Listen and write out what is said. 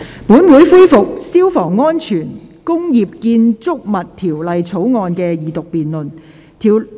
本會恢復《消防安全條例草案》的二讀辯論。